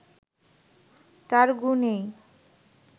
তাঁর গুণেই